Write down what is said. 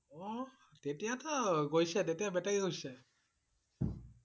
অ' তেতিয়াটো গৈছে। তেতিয়া battery গৈছে